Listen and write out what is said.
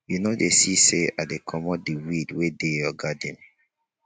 you no dey see say i dey comot de weed wey dey your garden